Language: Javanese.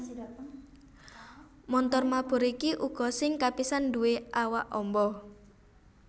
Montor mabur iki uga sing kapisan nduwé awak amba